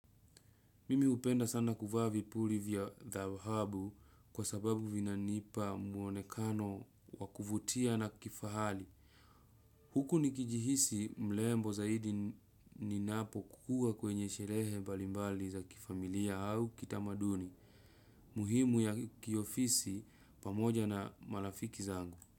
Mimi upenda sana kuvaa vipuli vya dhahabu kwa sababu vina nipa muonekano wakuvutia na kifahali. Huku nikijihisi mlembo zaidi ninapo kukua kwenye sherehe balimbali za kifamilia au kitamaduni. Muhimu ya kiofisi pamoja na malafiki zangu.